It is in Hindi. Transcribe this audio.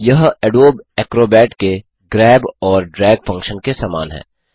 यह अडोबे एक्रोबैट के ग्रैब और ड्रैग फ़ंक्शन के समान है